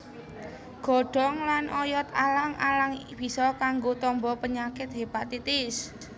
Godhong lan oyot alang alang bisa kanggo tamba penyakit hépatitis